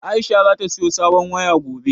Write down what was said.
Aisha za ta saya sabon waya gobe